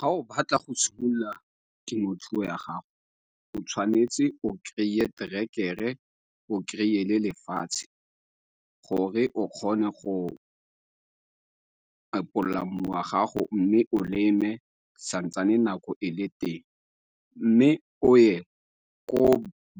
Ga o batla go simolola temothuo ya gago, o tshwanetse o krey-e terekere, o krey-e le lefatshe gore o kgone go epolola mmu wa gago mme o leme santsane nako e le teng. Mme o ye ko